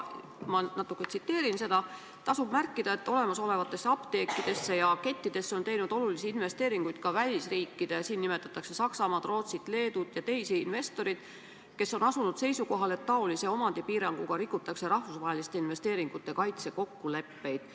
Ma natuke tsiteerin seda: "Tasub märkida, et olemasolevatesse apteekidesse on teinud olulisi investeeringuid ka välisriikide investorid, kes on asunud seisukohale, et taolise omandipiiranguga rikutakse rahvusvaheliste investeeringute kaitse kokkuleppeid.